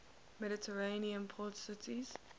mediterranean port cities